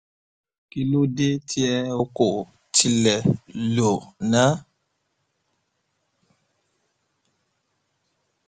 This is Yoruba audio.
kí ló dé tí ẹ ò kò tilẹ̀ lò ná